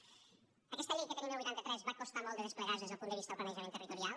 aquesta llei que tenim del vuitanta tres va costar molt de desplegarse des del punt de vista del planejament territorial